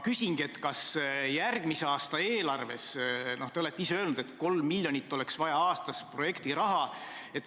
Te olete ise öelnud, et 3 miljonit aastas oleks vaja projektiraha.